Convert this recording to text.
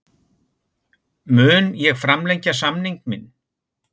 Mun ég framlengja samning minn?